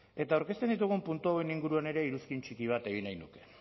eta aurkezten ditugun puntu hauen inguruan ere iruzkin txiki bat egin nahi du